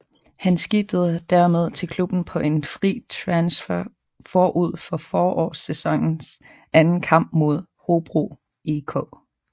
Han skidtede dermed til klubben på en fri transfer forud for forårssæsonens anden kamp mod Hobro IK